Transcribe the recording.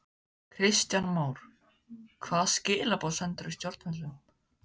Kristján Már: Hvaða skilaboð sendirðu stjórnvöldum?